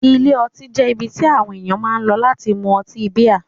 Ilé ọtí jẹ́ ibi tí àwọn ènìyàn máa ń lọ láti mú ọtí bíà.